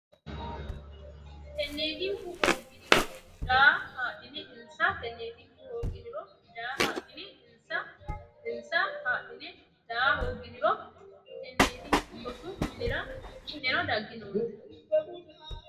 Tenneetinku hoogginiro daa haadhine insa Tenneetinku hoogginiro daa haadhine insa insa haadhine daa hoogginiro Tenneetinku rosu minira ki neno dagginoonte !